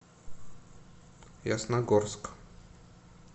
ясногорск